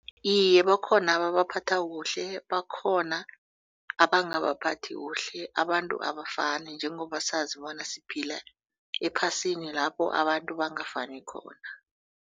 Iye bakhona ababaphatha kuhle bakhona abangabaphathi kuhle. Abantu abafani njengobasazi bona siphila ephasini lapho abantu bangafani khona.